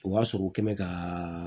O b'a sɔrɔ u kɛ mɛ ka